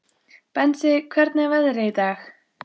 Bensi, hvernig er veðrið í dag?